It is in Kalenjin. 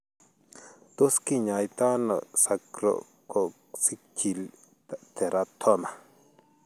Tos kinyaatano sacrococcygeal teratoma ?